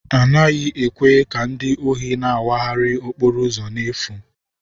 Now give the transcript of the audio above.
A naghị ekwe ka ndị ohi na-awagharị n'okporo ụzọ n'efu.